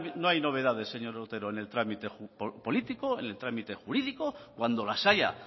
no hay novedades señor otero en el trámite político en el trámite jurídico cuando las haya